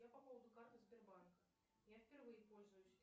я по поводу карты сбербанка я впервые пользуюсь